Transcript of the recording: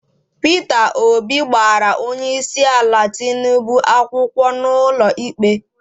Peter Obi gbara onyeisiala Tinubu akwụkwọ n'ụlọikpe